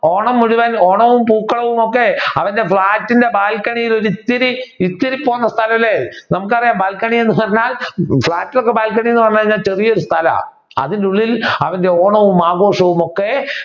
ഓണം മുഴുവൻ ഓണവും പൂക്കളവുമൊക്കൊക്കെ അവരുടെ ഫ്‌ളാറ്റിന്റെ ബാൽക്കണിയിൽ ഇത്തിരി ഇത്തിരിപ്പോന്ന സ്ഥലം അല്ലെ നമ്മുക്ക് അറിയാം ബാൽക്കണി എന്ന് പറഞ്ഞാൽ ഫ്ളാറ്റിലൊക്കെ ബാൽക്കണി എന്ന് പറഞ്ഞാൽ ചെറിയ ഒരു സ്ഥലാ അതിനുള്ളിൽ അവരുടെ ഓണവും ആഘോഷവുമൊക്കെ